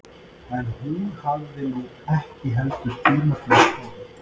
En hún hafði nú ekki heldur tíma til að skoða